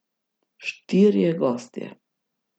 Štirje gostje.